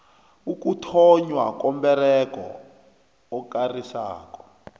ukuthonnywa komberego okarisako